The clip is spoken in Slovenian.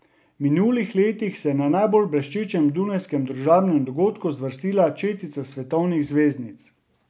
V minulih letih se je na najbolj bleščečem dunajskem družabnem dogodku zvrstila četica svetovnih zvezdnic.